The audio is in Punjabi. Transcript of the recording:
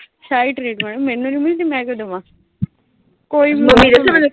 ਸ਼ਾਹੀ ਟਰੀਟਮੈਂਟ ਮੈਨੂੰ ਨੀਂ ਮਿਲਦੀ, ਮੈਂ ਕਿਉਂ ਦੇਵਾਂ। ਕੋਈ